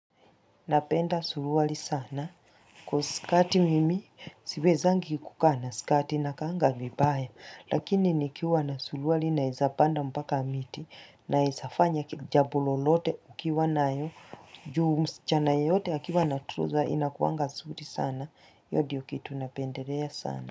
Napenda suruali sana kuwa skati mimi siwezangi kukaa na skati nakaanga vibaya lakini nikiwa na surualli naeza panda mpaka miti naeza fanya jambo lolote ukiwa nayo juu msichana yeyote akiwa na trousers inakuanga nzuri sana hiyo ndiyo kitu napendelea sana.